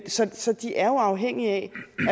så så de er jo afhængige af